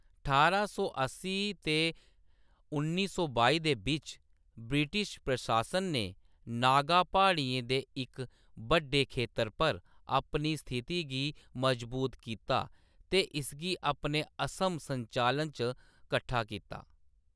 ठारां सौ अस्सी ते उन्नी सौ बानुएं दे बिच्च, ब्रिटिश प्रशासन ने नागा प्हाड़ियें दे इक बड्डे खेतर पर अपनी स्थिति गी मजबूत कीता ते इसगी अपने असम संचालन च कट्ठा कीता।